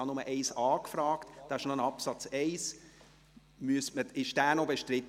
Ich habe nur nach Absatz 1a gefragt, aber es gibt noch einen Absatz 1. Ist dieser noch bestritten?